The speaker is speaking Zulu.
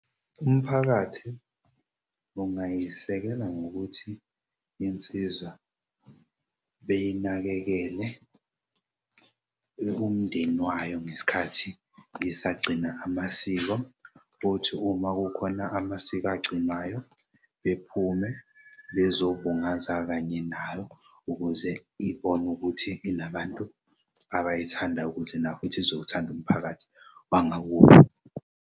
Umphakathi ungayisekela ngokuthi insizwa beyinakekele umndeni wayo ngesikhathi isagcina amasiko futhi uma kukhona amasiko agcinwayo bephume bezobungaza kanye nayo ukuze ibone ukuthi inabantu abayithandayo ukuze nayo futhi izowuthanda umphakathi wangakubo.